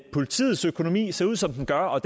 politiets økonomi ser ud som den gør og